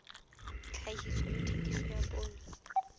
tlhahiso le thekiso ya poone